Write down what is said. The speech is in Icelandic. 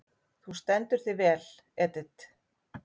Þú stendur þig vel, Edit!